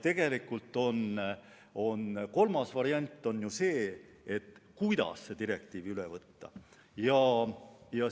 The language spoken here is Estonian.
Tegelikult on ju ka kolmas variant, see, kuidas direktiiv üle võtta.